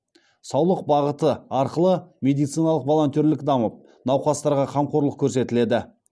саулық бағыты арқылы медициналық волонтерлік дамып науқастарға қамқорлық көрсетіледі